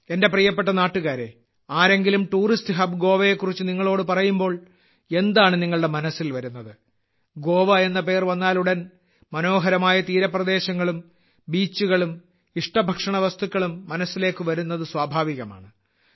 എന്റെ പ്രിയപ്പെട്ട നാട്ടുകാരെ ആരെങ്കിലും ടൂറിസ്റ്റ് ഹബ് ഗോവയെ കുറിച്ച് നിങ്ങളോട് പറയുമ്പോൾ എന്താണ് നിങ്ങളുടെ മനസ്സിൽ വരുന്നത് ഗോവ എന്ന പേര് വന്നാലുടൻ മനോഹരമായ തീരപ്രദേശങ്ങളും ബീച്ചുകളും ഇഷ്ടഭക്ഷണ വസ്തുക്കളും മനസ്സിലേക്ക് വരുന്നത് സ്വാഭാവികമാണ്